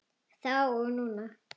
Þá og núna.